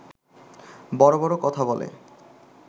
বড় বড় কথা বলে